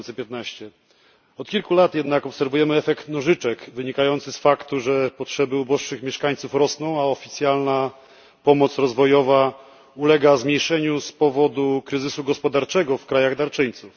2015. Od kilku lat jednak obserwujemy efekt nożyczek wynikający z faktu, że potrzeby uboższych mieszkańców rosną, a oficjalna pomoc rozwojowa ulega zmniejszeniu z powodu kryzysu gospodarczego w krajach darczyńców.